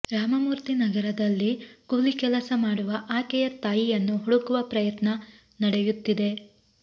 ರಾಮಮೂರ್ತಿನಗರದಲ್ಲಿ ಕೂಲಿ ಕೆಲಸ ಮಾಡುವ ಆಕೆಯ ತಾಯಿಯನ್ನು ಹುಡುಕುವ ಪ್ರಯತ್ನ ನಡೆಯುತ್ತಿದೆ